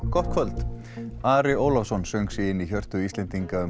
gott kvöld Ari Ólafsson söng sig inn í hjörtu Íslendinga um